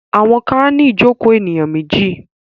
Àwọn kan á ní ìjokòó ènìyàn méjì.